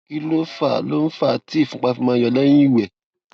kí ló ń fà ló ń fà á tí ìfúnpá fi máa ń yọ lẹyìn ìwè